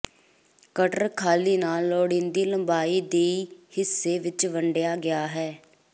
cutter ਖਾਲੀ ਨਾਲ ਲੋੜੀਦੀ ਲੰਬਾਈ ਦੀ ਹਿੱਸੇ ਵਿੱਚ ਵੰਡਿਆ ਗਿਆ ਹੈ